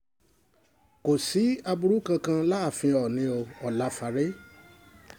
kò sí aburú kankan láàfin oòní o ọláfáre